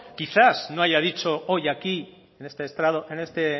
quizás no haya dicho hoy aquí en este estrado en este